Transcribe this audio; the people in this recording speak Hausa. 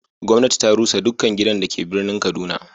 gwamnati ta rusa dukkan gidan da ke birnin kaduna.